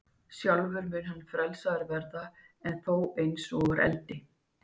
Sjálfur mun hann frelsaður verða, en þó eins og úr eldi.